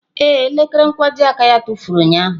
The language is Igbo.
Ee, elekere nkwojiaka ya tụfuru ụnyahụ.